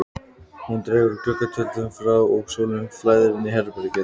Hún dregur gluggatjöldin frá og sólin flæðir inn í herbergið.